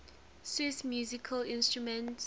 swiss musical instruments